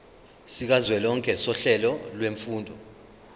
sikazwelonke sohlelo lwezifundo